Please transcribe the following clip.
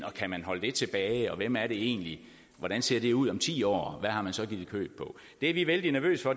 og kan man holde det tilbage og hvem er det egentlig hvordan ser det ud om ti år hvad har man så givet køb på det er vi vældig nervøse